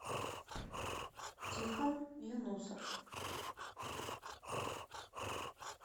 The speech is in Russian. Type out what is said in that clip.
тихон юнусов